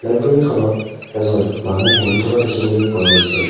লাইবৰীখনত এজন মানুহ বহি থকা দেখিবলৈ পোৱা গৈছে।